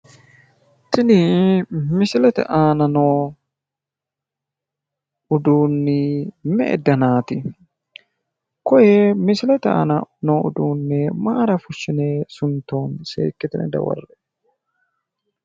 kuni misilete aana noo uduunni me'e danaati? koye misilete aana noo uduunne mayiira fushshine suntoonni? seekkitine dawarre''e